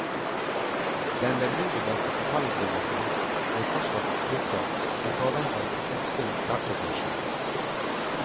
Den bebudede kapitalutvidelsen blir fortsatt utsatt i påvente av et oppsving i aksjekursen.